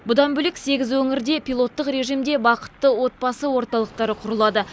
бұдан бөлек сегіз өңірде пилоттық режимде бақытты отбасы орталықтары құрылады